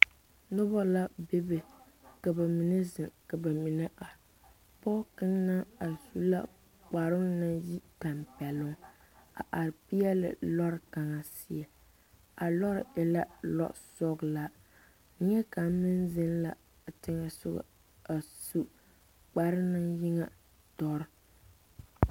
Noba la bebe ka ba mine zeŋ ka ba mine are pɔge kaŋ naŋ are su la kparoo naŋ yi tampɛloŋ a are peɛle loori kaŋa a loori e la losɔglaa neɛkaŋ meŋ zeŋ la a teŋɛ soga a su kparoo naŋ yi ŋa dɔre.